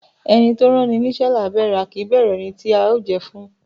Ẹni tó ránni níṣẹ́ là á bẹ̀rù, a kì í bẹ̀rù ẹni tí a ó jẹ́ ẹ fún.